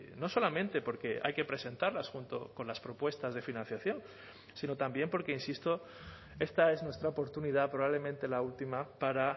no solamente porque hay que presentarlas junto con las propuestas de financiación sino también porque insisto esta es nuestra oportunidad probablemente la última para